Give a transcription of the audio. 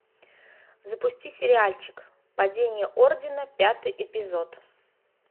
запусти сериальчик падение ордена пятый эпизод